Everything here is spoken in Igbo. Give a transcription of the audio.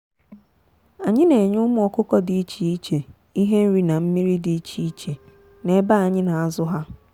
anyị na enye ụmụ ọkụkọ dị iche iche ihe nri na mmiri dị iche iche n'ebe anyị na azụ ha.